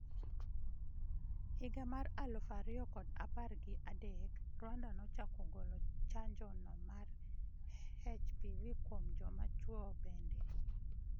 Higa mar aluf ariyo kod apar gi adek, Rwanda nochako golo chanjo no mar Hpv kuom joma chuo bende